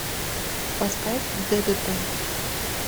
поставь д д т